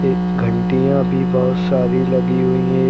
ये घंटियां भी बहोत सारी लगी हुई है।